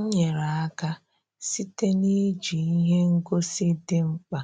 M nyere aka site na-iji ihe ngosi dị mkpa